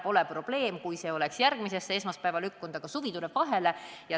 Poleks probleemi, kui see oleks lükkunud järgmisesse esmaspäeva, aga suvi tuleb vahele.